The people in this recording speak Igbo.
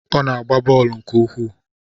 Ọ na-agba bọọlụ nke ukwuu